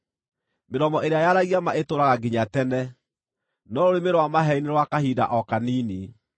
Mĩromo ĩrĩa yaragia ma ĩtũũraga nginya tene, no rũrĩmĩ rwa maheeni nĩ rwa kahinda o kanini.